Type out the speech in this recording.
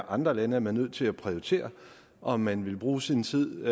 andre lande er man nødt til at prioritere om man vil bruge sin tid